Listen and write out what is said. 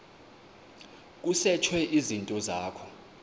kusetshwe izinto zakho